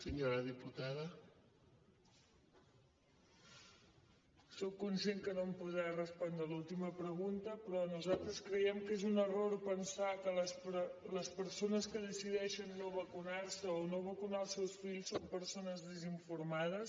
sóc conscient que no em podrà respondre l’última pregunta però nosaltres creiem que és un error pensar que les persones que decideixen no vacunar se o no vacunar els seus fills són persones desinformades